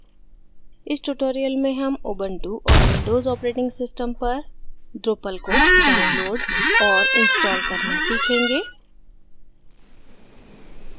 इस tutorial में हम उबंटु और windows operating systems पर drupal को download और install करना सीखेंगे